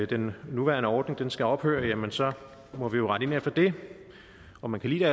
den nuværende ordning skal ophøre jamen så må vi jo rette ind efter det om man kan lide